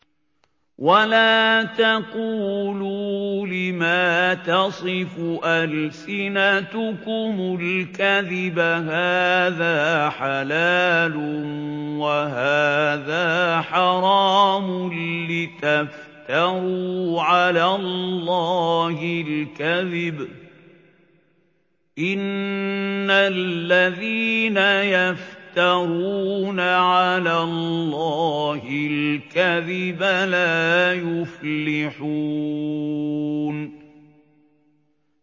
وَلَا تَقُولُوا لِمَا تَصِفُ أَلْسِنَتُكُمُ الْكَذِبَ هَٰذَا حَلَالٌ وَهَٰذَا حَرَامٌ لِّتَفْتَرُوا عَلَى اللَّهِ الْكَذِبَ ۚ إِنَّ الَّذِينَ يَفْتَرُونَ عَلَى اللَّهِ الْكَذِبَ لَا يُفْلِحُونَ